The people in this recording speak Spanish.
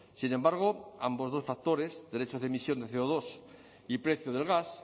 sin embargo ambos dos factores derechos de emisión de ce o dos y precio del gas